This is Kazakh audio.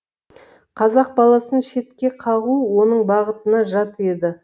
қазақ баласын шетке қағу оның бағытына жат еді